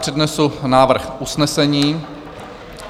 Přednesu návrh usnesení...